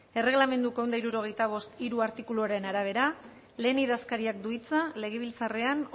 erregelamenduko ehun eta hirurogeita bost puntu hiru artikuluaren arabera lehen idazkariak du hitza legebiltzarrean